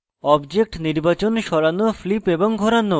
objects নির্বাচন সরানো flip এবং ঘোরানো